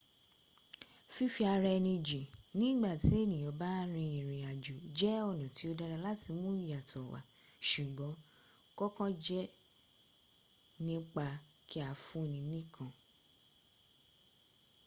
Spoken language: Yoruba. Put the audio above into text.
fífí-ara-ẹni-jìn ní ìgbà tí ènìyàn bá ń rin ìrìn àjò jẹ́ ọ̀nà tí ó dára láti mú ìyàtọ̀ wà ṣùgbọn kòkàn jẹ́ nípa kí a fún-ni nìkan